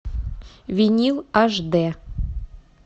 винил аш д